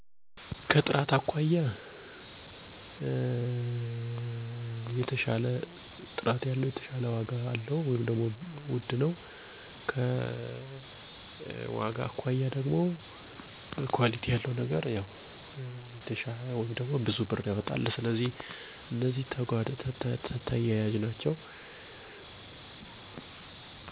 ዋጋ። ከአቅሜ ጋር ተመጣጣኝ ቀመሆኑ ምቾት። ከጥራቱ አኳያ እና ረዘም ያለ አገልግሎት በመሰጠቱ ጥራት። ኳሊቲ አኳያ